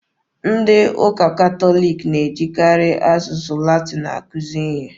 Ndị ụka Catholic na-ejikarị asụsụ Latin akuzi ihe.